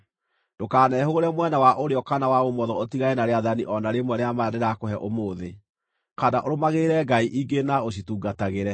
Ndũkanehũgũre mwena wa ũrĩo kana wa ũmotho ũtigane na rĩathani o na rĩmwe rĩa maya ndĩrakũhe ũmũthĩ, kana ũrũmagĩrĩre ngai ingĩ na ũcitungatagĩre.